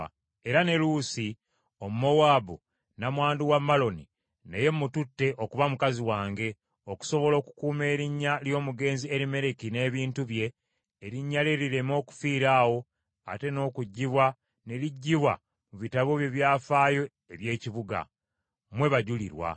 Era ne Luusi Omumowaabu, nnamwandu wa Maloni, naye mututte okuba mukazi wange, okusobola okukuuma erinnya ly’omugenzi Erimereki n’ebintu bye, erinnya lye lireme okufiira awo ate n’okugibwa ne ligibwa mu bitabo bye byafaayo eby’ekibuga. Mmwe bajulirwa!”